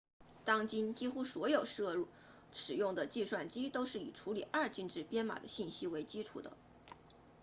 当今几乎所有投入使用的计算机都是以处理二进制编码的信息为基础的